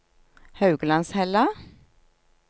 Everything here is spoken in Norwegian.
Hauglandshella